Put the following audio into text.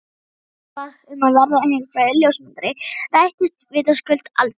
Draumar pabba um að verða heimsfrægur ljósmyndari rættust vitaskuld aldrei.